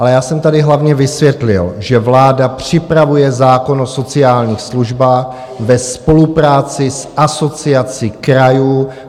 Ale já jsem tady hlavně vysvětlil, že vláda připravuje zákon o sociálních službách ve spolupráci s Asociací krajů.